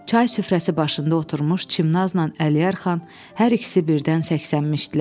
Çay süfrəsi başında oturmuş Çimnazla Əliyar xan hər ikisi birdən səskənmişdilər.